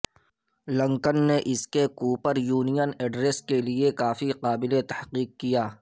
لنکن نے اس کے کوپر یونین ایڈریس کے لئے کافی قابل تحقیق کیا